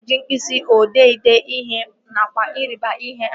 A na-eji mkpịsị odee ede ihe nakwa ịrịba ihe àmà